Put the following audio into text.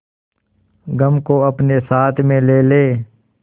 गम को अपने साथ में ले ले